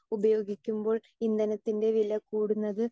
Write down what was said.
speaker 2 ഉപയോഗിക്കുമ്പോൾ ഇന്ധനത്തിൻ്റെ വില കൂടുന്നത്